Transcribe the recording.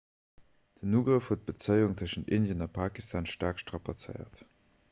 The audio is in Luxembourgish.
den ugrëff huet d'bezéiung tëschent indien a pakistan staark strapazéiert